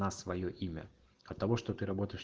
на своё имя потому что ты работаешь